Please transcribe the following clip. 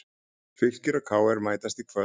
Fylkir og KR mætast í kvöld